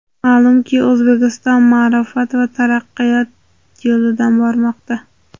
Ma’lumki, O‘zbekiston ma’rifat va taraqqiyot yo‘lidan bormoqda.